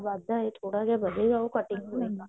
ਵੱਧ ਹੈ ਥੋੜਾ ਜਾ ਵਧੇ ਉਹ cutting